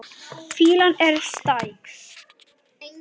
Fýlan er stæk.